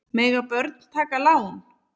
Mega börn taka lán?